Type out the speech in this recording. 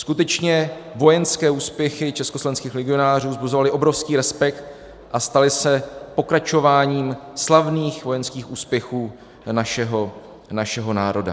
Skutečně vojenské úspěchy československých legionářů vzbuzovaly obrovský respekt a staly se pokračováním slavných vojenských úspěchů našeho národa.